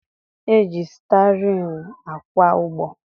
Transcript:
E ji stịarịn akwa ụgbọ